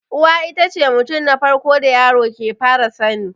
Uwa itace mutum na farko da yaro ke fara sani